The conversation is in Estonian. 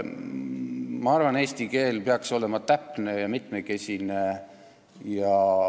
Ma arvan, et eesti keel peaks olema täpne ja mitmekesine.